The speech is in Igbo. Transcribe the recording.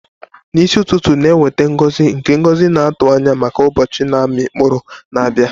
N'isi ụtụtụ na-eweta ngozi nke ngozi na-atụ anya maka ụbọchị na-amị mkpụrụ na-abịa.